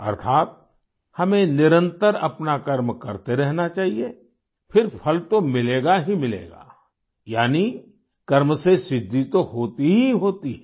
अर्थात् हमें निरंतर अपना कर्म करते रहना चाहिए फिर फल तो मिलेगा ही मिलेगा यानी कर्म से सिद्धि तो होती ही होती है